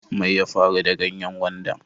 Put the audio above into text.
Mai ya faru da ganyen gwandan?